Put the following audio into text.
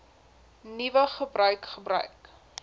nuwe gebruik gebruik